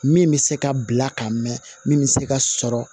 Min bɛ se ka bila ka mɛn min bɛ se ka sɔrɔ